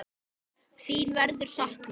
Þín verður saknað.